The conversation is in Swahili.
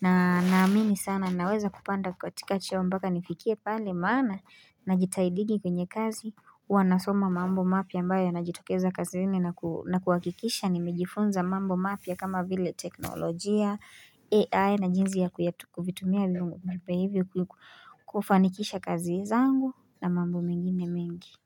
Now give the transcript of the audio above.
Na naamini sana naweza kupanda katika cheo mpaka nifikie pale maana najitahidingi kwenye kazi. Wanasoma mambo mapya ambayo yanayojitokeza kazini na kuhakikisha nimejifunza mambo mapya kama vile teknolojia, AI na jinsi ya kufanikisha kazi zangu na mambo mingine mingi.